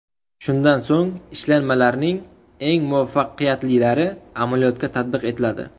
Shundan so‘ng ishlanmalarning eng muvaffaqiyatlilari amaliyotga tatbiq etiladi.